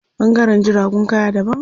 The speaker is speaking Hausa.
Ɓangaren jiragun kaya daban.